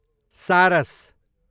सारस